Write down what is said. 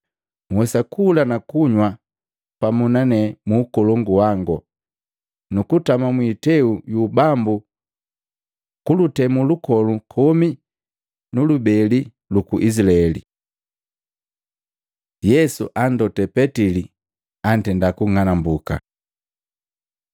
Nhwesa kula na kunywa pamu na nane mu Ukolongu wangu, nuku tama mwiteu yu ubambu kulutemu lukolu komi na lubeli luku Izilaeli.” Yesu andote Petili antenda kung'alambuka Matei 26:31-35; Maluko 14:27-31; Yohana 13:36-38